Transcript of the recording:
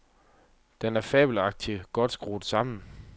Den er fabelagtig godt skruet sammen.